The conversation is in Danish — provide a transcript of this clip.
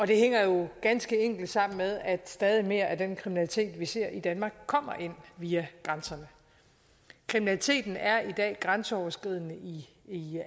det hænger jo ganske enkelt sammen med at stadig mere af den kriminalitet vi ser i danmark kommer ind via grænserne kriminaliteten er i dag grænseoverskridende i